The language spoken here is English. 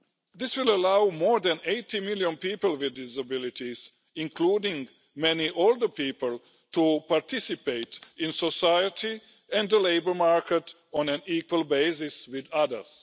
This will allow more than 80 million people with disabilities, including many older people, to participate in society and the labour market on an equal basis with others.